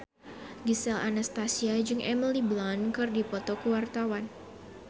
Gisel Anastasia jeung Emily Blunt keur dipoto ku wartawan